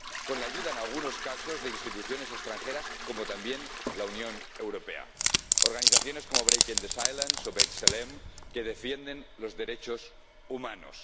con la ayuda, en algunos casos, de instituciones extranjeras, como también la Unión Europea, y de organizaciones como Breaking the Silence o B'Tselem, que defienden los derechos humanos.